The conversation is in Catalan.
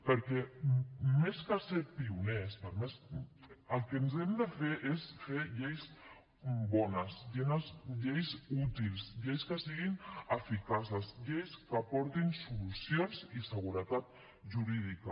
perquè més que ser pioners el que ens hem de fer és fer lleis bones lleis útils lleis que siguin eficaces lleis que aportin solucions i seguretat jurídica